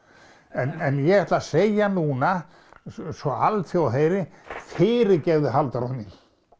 en ég ætla að segja núna svo alþjóð heyri fyrirgefðu Halldóra mín